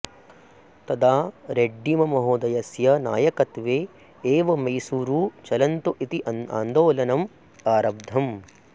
तदा रेड्डिमहोदयस्य नायकत्वे एव मैसूरु चलन्तु इति अन्दोलनम् आरब्धम्